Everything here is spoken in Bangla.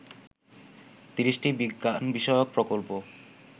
৩০টি বিজ্ঞান বিষয়কপ্রকল্প